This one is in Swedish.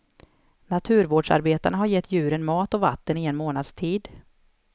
Naturvårdsarbetarna har gett djuren mat och vatten i en månads tid.